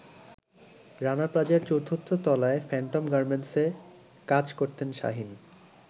রানা প্লাজার ৪র্থ তলায় ফ্যান্টম গার্মেন্টসে কাজ করতেন শাহীন।